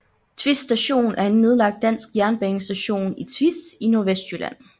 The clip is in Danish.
Tvis Station er en nedlagt dansk jernbanestation i Tvis i Nordvestjylland